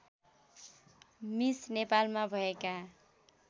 miss नेपालमा भएका